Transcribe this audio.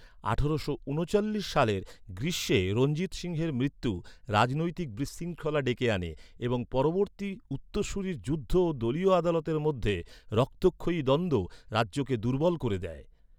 আঠারোশো ঊনচল্লিশ সালের গ্রীষ্মে রঞ্জিত সিংহের মৃত্যু রাজনৈতিক বিশৃঙ্খলা ডেকে আনে এবং পরবর্তী উত্তরসূরির যুদ্ধ ও দলীয় আদালতের মধ্যে রক্তক্ষয়ী দ্বন্দ্ব রাজ্যকে দুর্বল করে দেয়।